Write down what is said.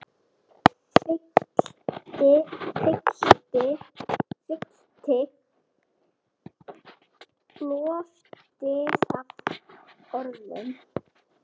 Fyllti loftið af orðum.